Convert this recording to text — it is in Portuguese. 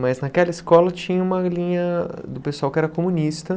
Mas naquela escola tinha uma linha do pessoal que era comunista.